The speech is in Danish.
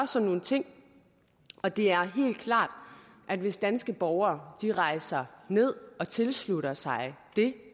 sådan nogle ting og det er helt klart at hvis danske borgere rejser ned og tilslutter sig det